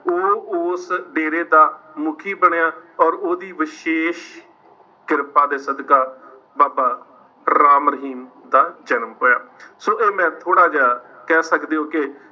ਉਹ ਉਸ ਡੇਰੇ ਦਾ ਮੁੱਖੀ ਬਣਿਆ ਔਰ ਉਹਦੀ ਵਿਸ਼ੇਸ਼ ਕਿਰਪਾ ਦੇ ਸਦਕਾ ਬਾਬਾ ਰਾਮ ਰਹੀਮ ਦਾ ਜਨਮ ਹੋਇਆ ਸੋ ਇਹ ਮੈਂ ਥੋੜ੍ਹਾ ਜਿਹਾ ਕਹਿ ਸਕਦੇ ਹੋ ਕਿ